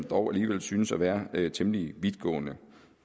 dog alligevel synes at være temmelig vidtgående